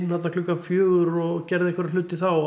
þarna klukkan fjögur og gerði einhverja hluti þá